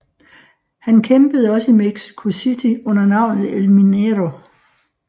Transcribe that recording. Han kæmpede også i Mexico City under navnet El Minero